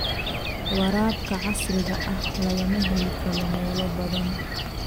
Waraabka casriga ah lagama heli karo meelo badan.